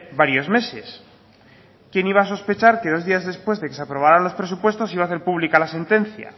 varios meses quién iba a sospechar que dos días después de que se aprobaran los presupuestos iba a hacer pública la sentencia